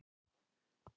Ég fékk gott uppeldi.